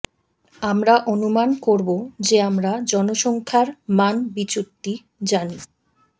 আমরা অনুমান করব যে আমরা জনসংখ্যার মান বিচ্যুতি জানি